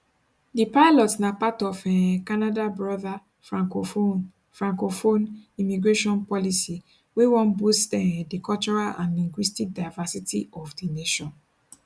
di pilot na part of um canada broader francophone francophone immigration policy wey wan boost um di cultural and linguistic diversity of di nation